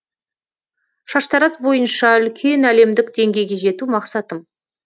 шаштараз бойынша үлкен әлемдік деңгейге жету мақсатым